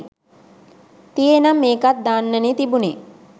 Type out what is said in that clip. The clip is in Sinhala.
තියේනම් ඒකත් දාන්නනේ තිබුණේ